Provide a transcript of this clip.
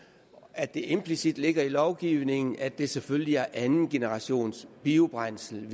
at det implicit ligger i lovgivningen at det selvfølgelig er andengenerationsbiobrændsel